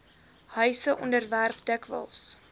huise onderwerp dikwels